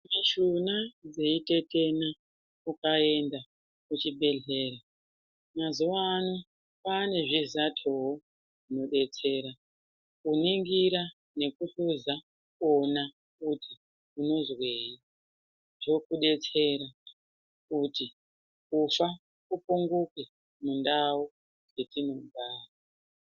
Mishuna dzeitetena ukaenda kuchibhedhlera mazuwa ano kwaane zvizatowo zvinodetsera kuningira kuhluza kuone kuti unozwei zvotidetsera kuti kufa kupunguke mundau dzetinogara.